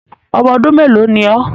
Ọmọ ọdún mélòó ni ọ́.?